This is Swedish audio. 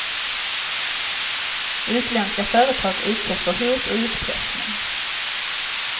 Utländska företag utsätts för hot och utpressning.